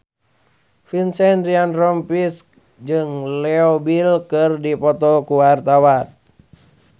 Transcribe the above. Vincent Ryan Rompies jeung Leo Bill keur dipoto ku wartawan